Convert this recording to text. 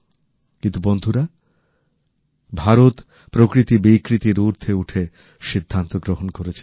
কিন্তু বন্ধুরা ভারত প্রকৃতি বিকৃতির ঊর্ধ্বে উঠে সিদ্ধান্ত গ্রহণ করেছে